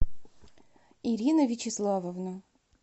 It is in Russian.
ирина вячеславовна